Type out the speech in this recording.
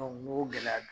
n'o gɛlɛya don